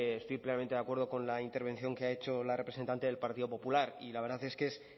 estoy plenamente de acuerdo con la intervención que ha hecho la representante del partido popular y la verdad es que es